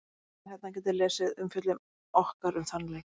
Með því að smella hérna getið þið lesið umfjöllun okkar um þann leik.